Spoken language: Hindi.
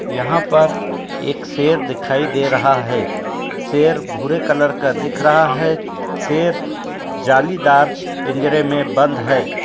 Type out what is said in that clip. यहाँं पर एक शेर दिखाई दे रहा है। शेर भूरे कलर का दिख रहा है। शेर जालीदार पिंजरे में बंद है।